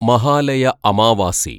Mahalaya Amavasya